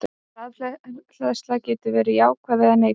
Rafhleðsla getur verið jákvæð eða neikvæð.